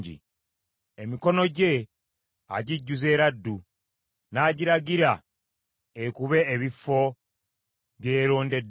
Emikono gye agijjuza eraddu, n’agiragira ekube ebifo bye yeerondeddemu.